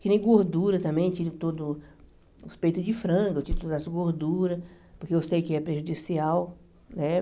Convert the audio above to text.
Que nem gordura também, tiro todo os peitos de frango, eu tiro todas as gorduras, porque eu sei que é prejudicial, né?